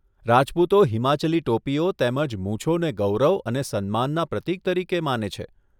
રાજપૂતો હિમાચલી ટોપીઓ તેમજ મૂછોને ગૌરવ અને સન્માનના પ્રતીક તરીકે માને છે.